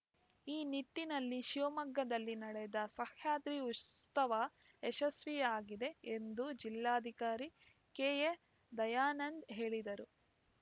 ಈ ನಿಟ್ಟಿನಲ್ಲಿ ಶಿವಮೊಗ್ಗದಲ್ಲಿ ನಡೆದ ಸಹ್ಯಾದ್ರಿ ಉಷತವ ಯಶಸ್ವಿಯಾಗಿದೆ ಎಂದು ಜಿಲ್ಲಾಧಿಕಾರಿ ಕೆಎದಯಾನಂದ್‌ ಹೇಳಿದರು